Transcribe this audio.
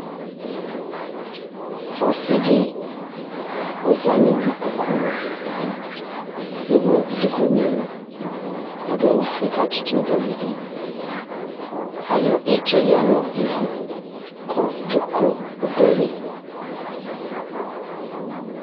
ɔsiidi ɔzanʋ ikpɔkʋ aɣa, ɛwʋ dʋkʋ nʋ ɛlʋ, adʋ awʋ ƒʋɛ kʋ atʋ tʋnʋgavi bɛ, ayɔ itsɛ yanʋ ivʋ kʋ dzʋklɔ ɔdʋ ali